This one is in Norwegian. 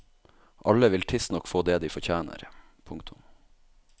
Alle vil tidsnok få det de fortjener. punktum